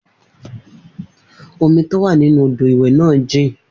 Omi tó wà nínú odò ìwẹ̀ náà jìn